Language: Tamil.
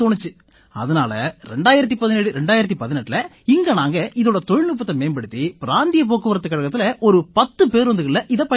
அதனால 201718இல நாங்க இதோட தொழில்நுட்பத்தை மேம்படுத்தி பிராந்திய போக்குவரத்துக் கழகத்தில ஒரு பத்து பேருந்துகள்ல இதைப் பயன்படுத்தினோம்